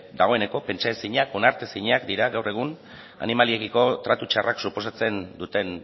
dagoeneko pentsaezinak onartezinak dira gaur egun animaliekiko tratu txarrak suposatzen duten